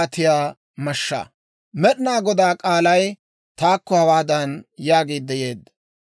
Med'inaa Godaa k'aalay taakko hawaadan yaagiidde yeedda;